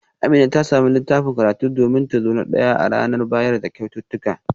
Amina ta samu littafin karatu domin ta zo na daya a aji a ranar bayar da kyaututtuka